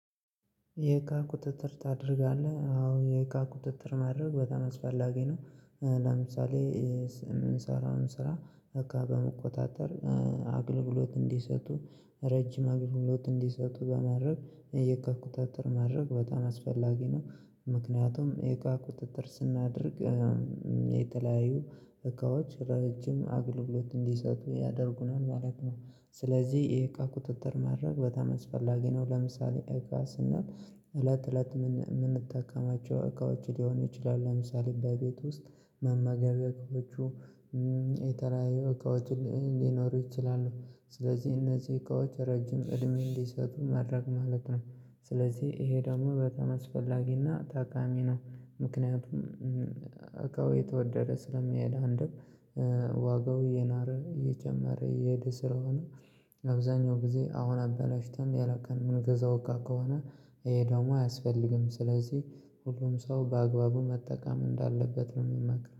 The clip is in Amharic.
የእቃ ቁጥጥር ታደርጋለህ አዎ የእቃ ቁጥጥር ማድረግ በጣም አስፈላጊ ነው። ለምሳሌ የምንሰራውን ስራ በቃ በመቆጣጠር። አገልግሎት እንዲሰጡ ረጅም አገልግሎት እንዲሰጡ በማድረግ የእቃ ቁጥጥር ማድረግ በጣም አስፈላጊ ነው። ምክንያቱም የእቃ ቁጥጥር ስናደርግ የተለያዩ እቃዎች ረጅም አገልግሎት እንዲሰጡ ያደርጉናል ማለት ነው። ስለዚህ የእቃ ቁጥጥር ማድረግ በጣም አስፈላጊ ነው። ለምሳሌ እቃ ስና እለት እለት የምንጠቃማቸው እቃዎች ሊሆኑ ይችላሉ ለምሳሌ በቤት ውስጥ መመገብያዎቹ። የተለለያዩ እቃዎች ሊኖሩ ይችላሉ። ስለዚህ እነዚህ እቃዎች ረጅም እድሜ እንዲሰጡ ማድረግ ማለት ነው። ስለዚህ ይሄ ደግሞ በጣም አስፈላጊና ታቃሚ ነው። ምክንያቱም እቃው እየተወደደ ስለሚሄድ አንድም ዋጋው እየናረ እየጨመረ እየሄደ ስለሆነ። አብዛኛው ጊዜ አሁን አበላሽተን ያላቀድነዉን ምንገዛ እቃ ከሆነ። ህይ ደሞ አያስፈልግም ስለዚህ ሁሉም ሰው በአግባቡ መጠቀም እንዳለበት ነው የሚመክረው